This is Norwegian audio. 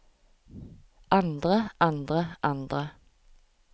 andre andre andre